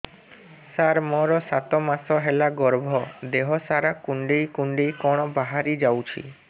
ସାର ମୋର ସାତ ମାସ ହେଲା ଗର୍ଭ ଦେହ ସାରା କୁଂଡେଇ କୁଂଡେଇ କଣ ବାହାରି ଯାଉଛି